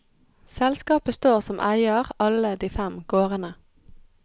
Selskapet står som eier alle de fem gårdene.